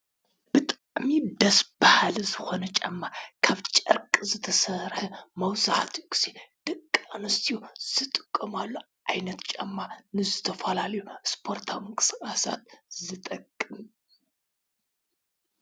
ብጣዕሚ ደስ በሃሊ ዝኮነ ጫማ ካብ ጨርቂ ዝተሰርሐ መብዛሕተኡ ግዘ ደቂ ኣንስትዮ ዝጥቀማሉ ዓይነት ጫማ ንዝተፈላለዩ ስፖርታዊ ምንቅስቃሳት ዝጠቅም እዩ።